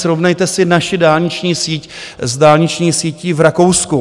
Srovnejte si naši dálniční síť s dálniční sítí v Rakousku.